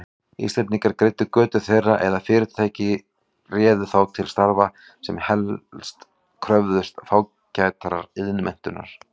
Íslendingar greiddu götu þeirra eða fyrirtæki réðu þá til starfa, sem helst kröfðust fágætrar iðnmenntunar.